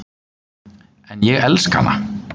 En ég elska hana.